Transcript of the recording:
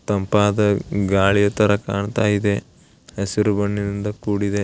ತಂಪಾದ ಗಾಳಿ ತರ ಕಾಣ್ತಾ ಇದೆ ಹಸಿರು ಬಣ್ಣದಿಂದ ಕೂಡಿದೆ.